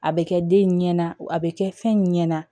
A bɛ kɛ den in ɲɛna a bɛ kɛ fɛn ɲɛna